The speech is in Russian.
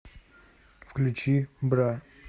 включи бра